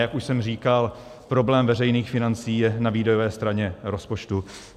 Jak už jsem říkal, problém veřejných financí je na výdajové straně rozpočtu.